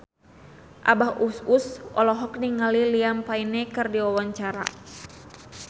Abah Us Us olohok ningali Liam Payne keur diwawancara